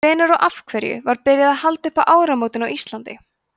hvenær og af hverju var byrjað að halda upp á áramótin á íslandi